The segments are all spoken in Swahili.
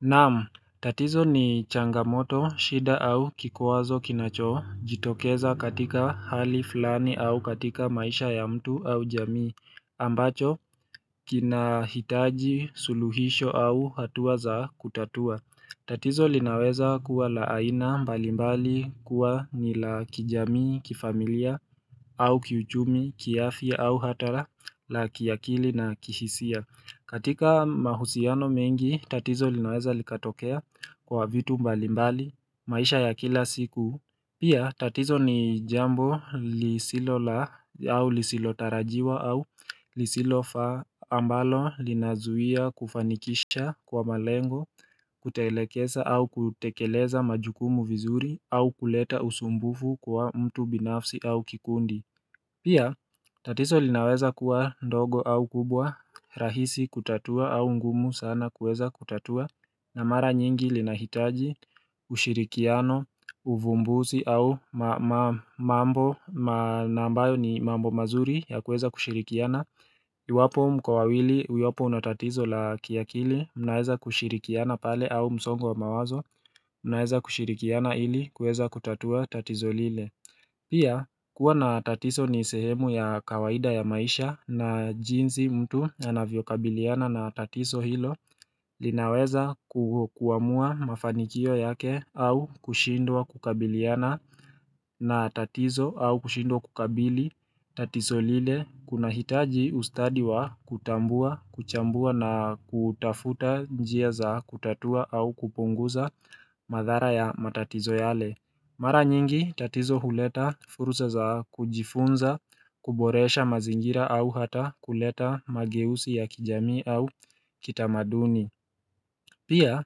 Naam, tatizo ni changamoto, shida au kikwazo kinachoitokeza katika hali fulani au katika maisha ya mtu au jamii, ambacho kina hitaji, suluhisho au hatua za kutatua. Tatizo linaweza kuwa la aina mbalimbali kuwa ni la kijami, kifamilia, au kiuchumi, kiafya, au hata la kiakili na kihisia. Katika mahusiano mengi, tatizo linaweza likatokea kwa vitu mbalimbali, maisha ya kila siku. Pia tatizo ni jambo lisilo la au lisilotarajiwa au lisilofaa ambalo linazuia kufanikisha kwa malengo kutoelekeza au kutekeleza majukumu vizuri au kuleta usumbufu kwa mtu binafsi au kikundi. Pia tatizo linaweza kuwa ndogo au kubwa rahisi kutatua au ngumu sana kuweza kutatua na mara nyingi linahitaji ushirikiano, uvumbuzi au mambo mazuri ya kuweza kushirikiana Iwapo mko wawili iwapo una tatizo la kiakili mnaweza kushirikiana pale au msongo wa mawazo mnaweza kushirikiana ili kuweza kutatua tatizo lile Pia kuwa na tatizo ni sehemu ya kawaida ya maisha na jinsi mtu anavyokabiliana na tatizo hilo linaweza kuamua mafanikio yake au kushindwa kukabiliana na tatizo au kushindwa kukabili tatizo lile, kunahitaji ustadi wa kutambua kuchambua na kutafuta njia za kutatua au kupunguza madhara ya matatizo yale. Mara nyingi tatizo huleta fursa za kujifunza, kuboresha mazingira au hata kuleta mageuzi ya kijamii au kitamaduni. Pia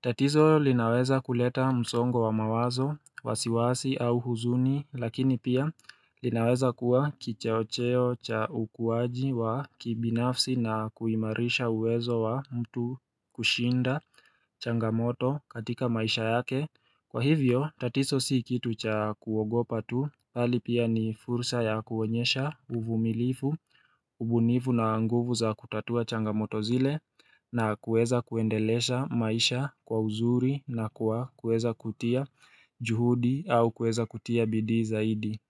tatizo linaweza kuleta msongo wa mawazo, wasiwasi au huzuni lakini pia linaweza kuwa kichocheo cha ukuwaji wa kibinafsi na kuimarisha uwezo wa mtu kushinda changamoto katika maisha yake. Kwa hivyo, tatizo si kitu cha kuogopa tu, bali pia ni fursa ya kuonyesha uvumilivu, ubunifu na nguvu za kutatua changamoto zile na kuweza kuendelesha maisha kwa uzuri na kuweza kutia juhudi au kuweza kutia bidii zaidi.